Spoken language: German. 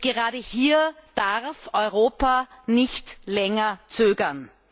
Gerade hier darf Europa nicht länger zögern!